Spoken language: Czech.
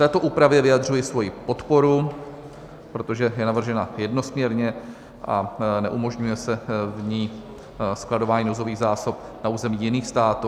Této úpravě vyjadřuji svoji podporu, protože je navržena jednosměrně a neumožňuje se v ní skladování nouzových zásob na území jiných států.